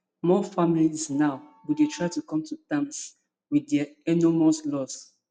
more families now go dey try to come to terms wit dia enormous loss